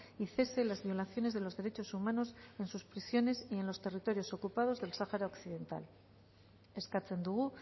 y cese las violaciones de los derechos humanos en sus prisiones y en los territorios ocupados del sáhara occidental eskatzen dugu